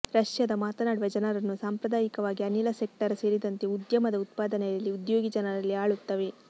ರಷ್ಯಾದ ಮಾತನಾಡುವ ಜನರನ್ನು ಸಾಂಪ್ರದಾಯಿಕವಾಗಿ ಅನಿಲ ಸೆಕ್ಟರ್ ಸೇರಿದಂತೆ ಉದ್ಯಮದ ಉತ್ಪಾದನೆಯಲ್ಲಿ ಉದ್ಯೋಗಿ ಜನರಲ್ಲಿ ಆಳುತ್ತವೆ